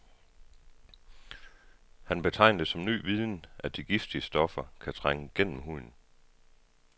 Han betegner det som ny viden, at de giftige stoffer kan trænge gennem huden.